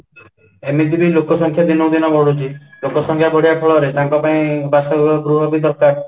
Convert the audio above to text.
ଏମିତିବି ଲୋକ ସଂଖ୍ୟା ଦିନକୁ ଦିନ ବଢୁଛି ଲୋକ ସଂଖ୍ୟା ବଢିବା ଫଳରେ ତାଙ୍କ ପାଇଁ ବାସ ଗୃହ ଗୃହ ବି ଦରକାର